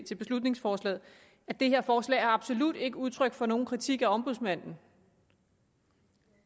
til beslutningsforslaget at det her forslag absolut ikke er udtryk for nogen kritik af ombudsmanden